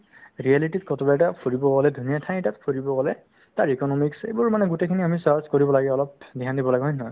reality তিত ক'ৰবা এটাত ফুৰিবলৈ গ'লে তুমি এই ঠাই এটাত ফুৰিব গ'লে তাৰ economics এইবোৰ মানে গোটেইখিনি আমি search কৰিব লাগে ,অলপ dhyan দিব লাগে হয় নে নহয়